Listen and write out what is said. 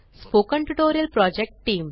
spoken tutorial project team